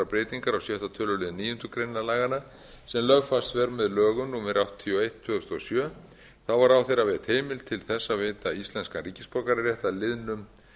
breytingar á sjötta tölulið níundu grein laganna sem lögfest er með lögum númer áttatíu og eitt tvö þúsund og sjö þá er ráðherra veitt heimild til að veita íslenskan ríkisborgararétt að liðnum